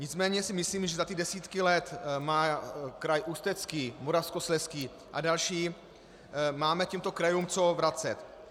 Nicméně si myslím, že za ty desítky let má kraj Ústecký, Moravskoslezský a další, máme těmto krajům co vracet.